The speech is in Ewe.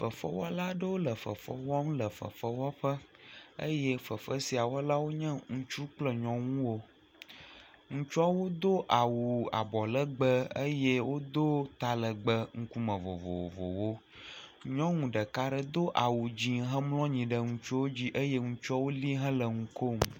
Fefewɔla aɖewo le fefe wɔm le fefewɔƒe eye fefe sia wɔlawo nye ŋutsu kple nyɔnuwo. Ŋutsuawo do awu abɔ legbe eye wodo talegbe ŋkume vovovowo. Nyɔnu ɖeka ɖe do awu dze hemlɔ anyi ɖe ŋutsuwo dzi eye ŋutsuawo li hele nu kom.